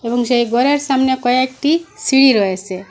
এবং সেই ঘরের সামনে কয়েকটি সিঁড়ি রয়েছে।